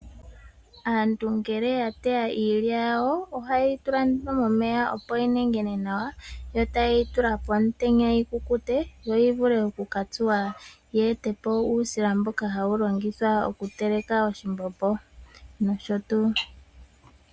Aantu ngele ya teya iilya yawo ohaye yitula nduno momeya opo yi nengene nawa yo taye yitula pomutenya yi kukute yo yi vule okukatsuwa yeete po uusila mboka hawu longithwa okuteleka oshimbombo nosho tuu.